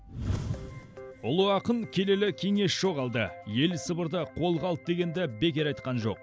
ұлы ақын келелі кеңес жоғалды ел сыбырды қолға алды дегенді бекер айтқан жоқ